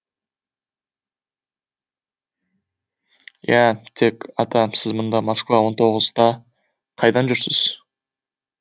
иә тек ата сіз мұнда москва он тоғызда қайдан жүрсіз